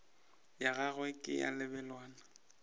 ya gagwe ke ya lebelwana